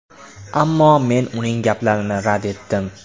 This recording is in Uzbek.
Ammo men uning gaplarini rad etdim.